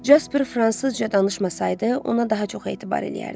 Casper fransızca danışmasaydı, ona daha çox etibar eləyərdim.